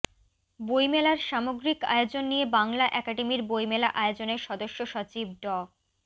বইমেলার সামগ্রিক আয়োজন নিয়ে বাংলা একাডেমির বইমেলা আয়োজনের সদস্য সচিব ড